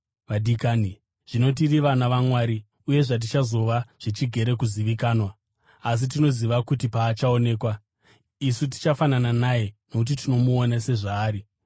Vadikani, zvino tiri vana vaMwari, uye zvatichazova zvichigere kuzivikanwa. Asi tinoziva kuti paachaonekwa, isu tichafanana naye, nokuti tichamuona sezvaari.